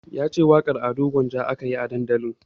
Yace waƙar Ado Gwanja ake yi a dandali